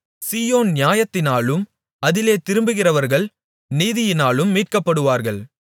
சீயோன் நியாயத்தினாலும் அதிலே திரும்பிவருகிறவர்கள் நீதியினாலும் மீட்கப்படுவார்கள்